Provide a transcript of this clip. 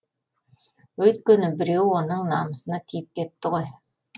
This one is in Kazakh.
өйткені біреу оның намысына тиіп кетті ғой